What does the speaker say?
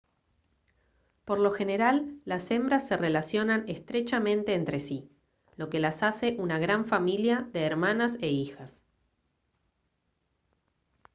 por lo general las hembras se relacionan estrechamente entre sí lo que las hace una gran familia de hermanas e hijas